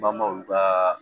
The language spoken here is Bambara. Bamaw ka